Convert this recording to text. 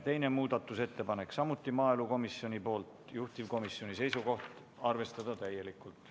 Teine muudatusettepanek, samuti maaelukomisjonilt, juhtivkomisjoni seisukoht: arvestada täielikult.